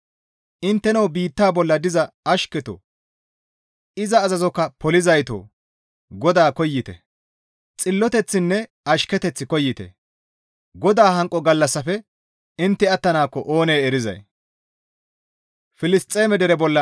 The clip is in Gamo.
Intteno biitta bolla diza ashketoo; iza azazokka polizaytoo! GODAA koyite; Xilloteththinne ashketeth koyite; GODAA hanqo gallassafe intte attanaakko oonee erizay!